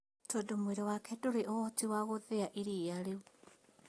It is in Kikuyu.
Tondũ mwĩrĩ wake ndũrĩ ũhoti wa gũthĩa ĩriia rĩu